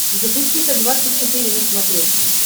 запусти т двадцать четыре на смотрешке